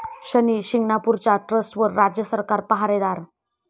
शनी शिंगणापूरच्या ट्रस्टवर राज्य सरकार पाहारे'दार'